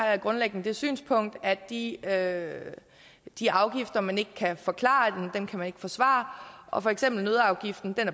jeg grundlæggende det synspunkt at de at de afgifter man ikke kan forklare kan man ikke forsvare og for eksempel er nøddeafgiften